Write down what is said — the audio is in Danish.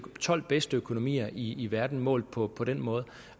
tolv bedste økonomier i i verden målt på på den måde